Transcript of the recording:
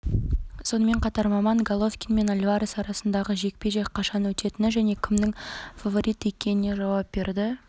сонымен қатар маман головкин мен альварес арасындағы жекпе-жек қашан өтетіні және кімнің фаворит екеніне жауап берді